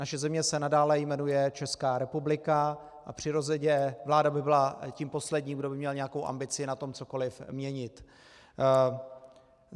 Naše země se nadále jmenuje Česká republika a přirozeně vláda by byla tím posledním, kdo by měl nějakou ambici na tom cokoliv měnit.